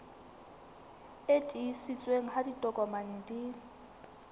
e tiiseditsweng ha ditokomane di